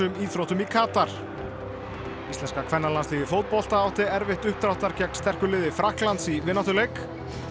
íþróttum í Katar íslenska kvennalandsliðið í fótbolta átti erfitt uppdráttar gegn sterku liði Frakklands í vináttuleik